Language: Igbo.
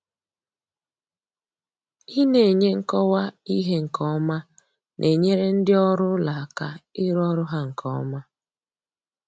ina enye nkọwa ihe nke ọma na-enyere ndị ọrụ ụlọ aka ịrụ ọrụ ha nke ọma.